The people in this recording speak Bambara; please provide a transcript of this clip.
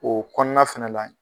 O kɔnɔna fɛnɛ la